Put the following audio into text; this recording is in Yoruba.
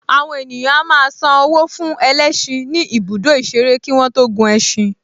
Àwọn ènìyàn a máa san owó fún ẹlẹ́ṣin ní ibùdó ìṣeré kí wọ́n tó gun ẹṣin